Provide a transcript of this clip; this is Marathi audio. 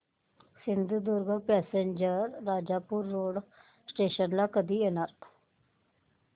Sindhudurg passenger Rajapur road station ला कधी येणार